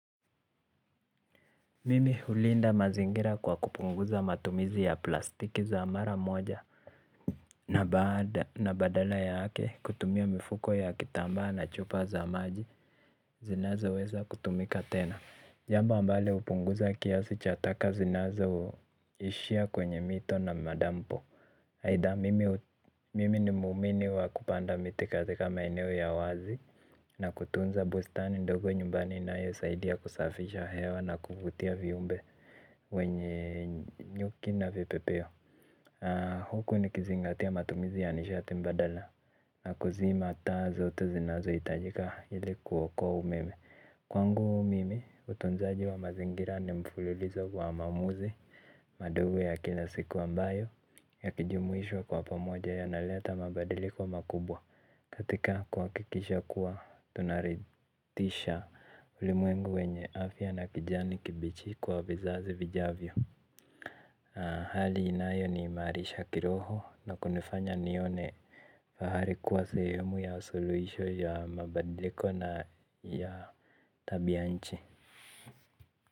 Mimi hulinda mazingira kwa kupunguza matumizi ya plastiki za mara moja. Na badala yake kutumia mifuko ya kitambaa na chupa za maji zinazoweza kutumika tena. Jambo ambale hupunguza kiasi cha taka zinazoishia kwenye mito na madampo. Aitha, mimi ni muumini wa kupanda miti katika maeneo ya wazi. Na kutunza bustani ndogo nyumbani, inayosaidia kusafisha hewa na kuvutia viumbe wenye nyuki na vipepeo. Huku nikizingatia matumizi ya nishati mbadala na kuzima taa zote zinazohitajika ili kuokoa umeme. Kwangu mimi utunzaji wa mazingira ni mfululizo wa maamuzi. Madawo ya kila siku ambayo yakijumuishwa pamoja yanaleta mabadiliko makubwa katika kuhakikisha kuwa tunaridhisha. Ulimwengu wenye afya na kijani kibichi kwa vizazi vijavyo. Hali inayo niimarisha kiroho na kunifanya nione fahari kuwa sehemu ya suluhisho la mabadiliko ya tabianchi.